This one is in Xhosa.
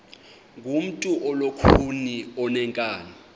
ngumntu olukhuni oneenkani